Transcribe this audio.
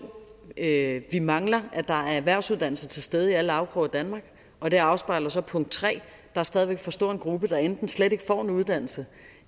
at vi mangler at der er erhvervsuddannelser til stede i alle afkroge af danmark og det afspejler så punkt tre at der stadig væk er for stor en gruppe der enten slet ikke får en uddannelse